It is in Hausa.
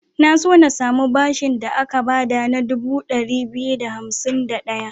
Na so na samu bashin da aka ba da na dubu ɗari biyu da hansim da ɗaya.